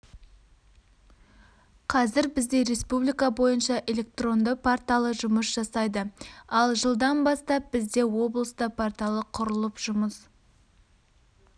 қазір бізде республика бойынша электронды порталы жұмыс жасайды ал жылдан бастап бізде облыста порталы құрылып жұмыс